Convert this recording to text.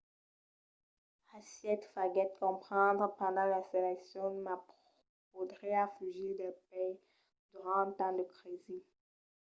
hsieh faguèt comprendre pendent las eleccions que ma podriá fugir del país durant un temps de crisi